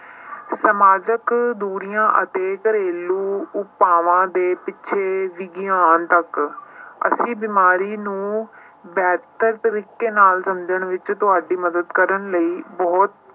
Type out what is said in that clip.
ਸਮਾਜਕ ਦੂਰੀਆਂ ਅਤੇ ਘਰੇਲੂ ਉਪਾਵਾਂ ਦੇ ਪਿੱਛੇ ਵਿਗਿਆਨ ਤੱਕ ਅਸੀਂ ਬਿਮਾਰੀ ਨੂੰ ਬਿਹਤਰ ਤਰੀਕੇ ਨਾਲ ਸਮਝਣ ਵਿੱਚ ਤੁਹਾਡੀ ਮਦਦ ਕਰਨ ਲਈ ਬਹੁਤ